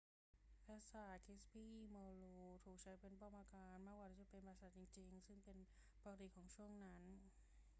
ปราสาท kirby muxloe ถูกใช้เป็นป้อมปราการมากกว่าที่จะเป็นปราสาทจริงๆ ซึ่งเป็นปกติของช่วงเวลานั้น